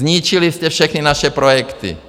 Zničili jste všechny naše projekty.